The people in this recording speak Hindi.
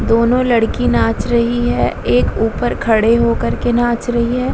दोनों लड़की नाच रही है। एक ऊपर खड़े होकर के नाच रही है।